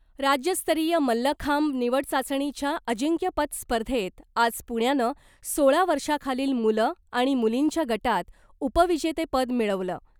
राज्यस्तरीय मल्लखांब निवड चाचणीच्या अजिंक्यपद स्पर्धेत आज पुण्यानं सोळा वर्षाखालील मुलं आणि मुलींच्या गटात उपविजेतेपद मिळवलं .